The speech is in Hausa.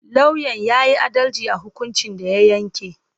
Lauyan ya yi adalci a hukuncin da ya yanke.